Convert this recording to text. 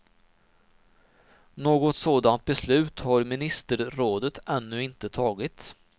Något sådant beslut har ministerrådet ännu inte tagit.